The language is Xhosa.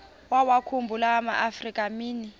wawakhumbul amaafrika mini